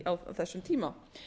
á þessum tíma